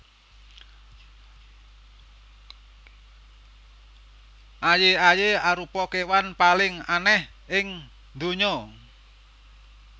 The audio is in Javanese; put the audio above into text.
Aye aye arupa kewan paling aneh ing ndonya